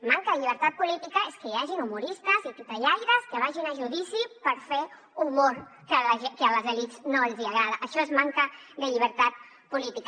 manca de llibertat política és que hi hagin humoristes i titellaires que vagin a judici per fer humor que a les elits no els hi agrada això és manca de llibertat política